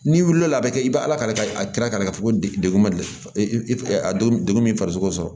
N'i wulila a bɛ kɛ i bɛ ala kari kira fɛ ko degun ma deli a degun min farisogo sɔrɔ